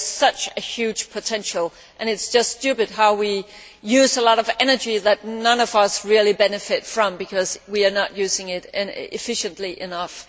There is such a huge potential there and it is just stupid that we use a lot of energy that none of us really benefit from because we are not using it efficiently enough.